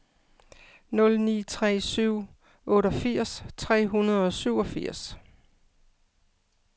nul ni tre syv otteogfirs tre hundrede og syvogfirs